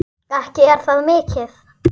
Ekki er það mikið!